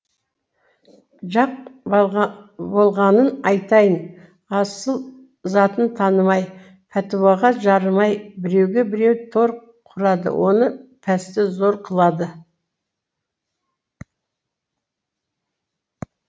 жақ болғанын айтайын асыл затын танымай пәтуаға жарымай біреуге біреу тор құрады оны пәсті зор қылды